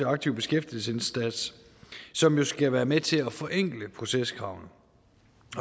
aktiv beskæftigelsesindsats som jo skal være med til at forenkle proceskravene